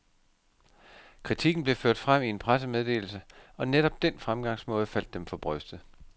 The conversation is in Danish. Kritikken blev ført frem i en pressemeddelse, og netop den fremgangsmåde faldt dem for brystet.